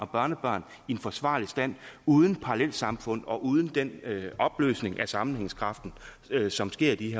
børnebørn i en forsvarlig stand uden parallelsamfund og uden den opløsning af sammenhængskraften som sker i